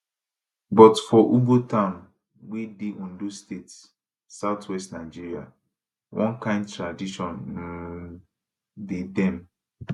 but for ugbo town wey dey ondo state southwest nigeria one kain tradition um dey dem